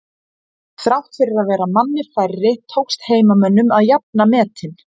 Þrátt fyrir að vera manni færri tókst heimamönnum að jafna metin.